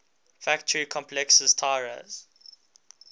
factory complexes tiraz